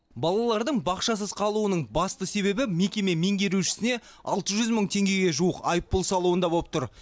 балалардың бақшасыз қалуының басты себебі мекеме меңгерушісіне алты жүз мың теңгеге жуық айыппұл салуында болып тұр